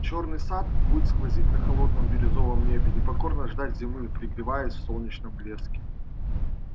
чёрный сад будет сквозить на холодном бирюзовом небе и покорно ждать зимы пригреваясь в солнечном блеске